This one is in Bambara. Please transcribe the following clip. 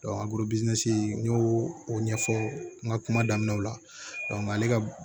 n y'o o ɲɛfɔ n ka kuma daminɛw la ale ka